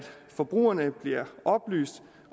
forbrugerne bliver oplyst